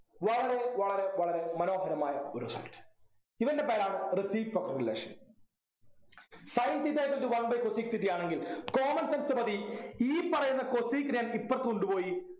വളരെ വളരെ വളരെ മനോഹരമായ ഒരു side ഇവൻ്റെ പേരാണ് reciprocal relation sin theta equal to cosec theta ആണെങ്കിൽ common sense മതി ഈ പറയുന്ന cosec നെ ഇപ്പറത്തു കൊണ്ടുപോയി